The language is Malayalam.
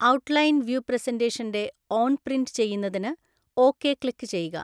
ഔട്ട് ലൈൻ വ്യൂ പ്രസന്റേഷന്റെ ഓൺ പ്രിന്റ് ചെയ്യുന്നതിന് ഓകെ ക്ലിക്ക് ചെയ്യുക.